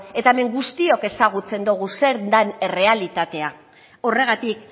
eta hemen guztiok ezagutzen dogu zer den errealitatea horregatik